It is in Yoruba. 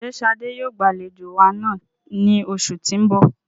Ṣe Shade yoo gbalejo wa naa ni oṣu ti n bọ?